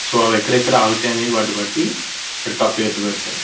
So అవి ఎక్కడ ఎక్కడ ఆగుతాయి అనేవి వాటి బట్టి వాటికి ఆ పేర్లు పెడతారు .